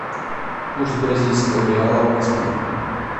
курс бразильского реала в москве